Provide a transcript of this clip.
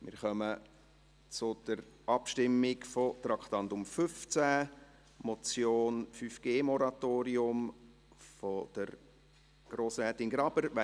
Wir kommen zur Abstimmung zum Traktandum 15: Motion «5G-Moratorium» von Grossrätin Graber .